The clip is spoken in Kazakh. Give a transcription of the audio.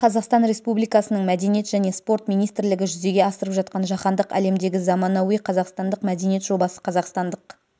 қазақстан республикасының мәдениет және спорт министрлігі жүзеге асырып жатқан жаһандық әлемдегі заманауи қазақстандық мәдениет жобасы қазақстандық